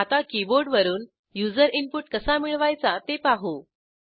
आता कीबोर्डवरून user input कसा मिळवायचा ते पाहू